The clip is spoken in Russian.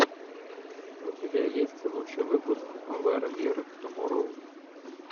у тебя есть лучший выпуск вэр вер туморроу